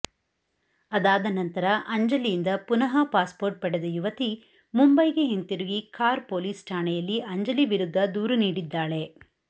ಅದಾದನಂತರ ಅಂಜಲಿಯಿಂದ ಪುನಃ ಪಾಸ್ಪೋರ್ಟ್ ಪಡೆದ ಯುವತಿ ಮುಂಬೈಗೆ ಹಿಂತಿರುಗಿ ಖಾರ್ ಪೊಲೀಸ್ ಠಾಣೆಯಲ್ಲಿ ಅಂಜಲಿ ವಿರುದ್ಧ ದೂರು ನೀಡಿದ್ದಾಳೆ